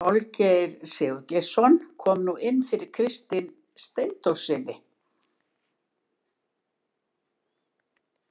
Olgeir Sigurgeirsson kom nú inn fyrir Kristin Steindórssyni.